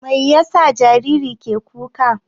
Mai yasa jariri ke ƙuka?